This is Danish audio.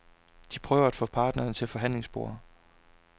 De prøver at få parterne til forhandlingsbordet.